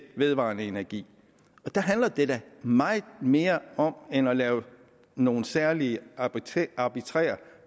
vedvarende energi der handler det da meget mere om end at lave nogle særlige arbitrære arbitrære